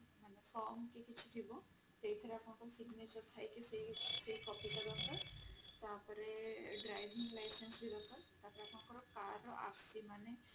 from କି କିଛି ଥିବ ସେଇଥିରେ ଆପଣଙ୍କର signature ଥାଇକି ସେଇ ସେଇ copy ଟା ଦରକାର ତାପରେ driving licence ବି ଦରକାର ତାପରେ ଆପଣଙ୍କର car ର RC